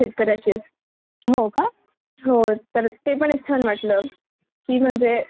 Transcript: हो तर ते पण एक छान वाटलं. कि म्हणजे शेकार्यांसोबत आजकाल कुणी करत नाही न. म्हणजे अस म्हणतात शहरातालेच पाहिजे वगैरे..